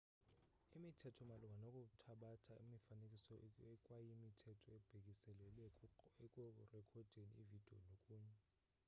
imithetho malunga nokuthabatha imifanekiso ikwayimithetho ebhekiselele ekurekhodeni ividiyo nokunye